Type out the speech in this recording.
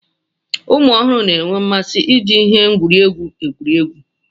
ụmụ ọhụrụ na-enwe mmasị iji ihe egwuregwu egwuri egwu